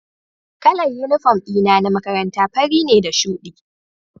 Kalar uniform dina na makaranta fari ne da shudi